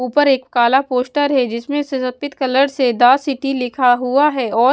ऊपर एक काला पोस्टर है जिसमें से सफेद कलर से द सिटी लिखा हुआ है और--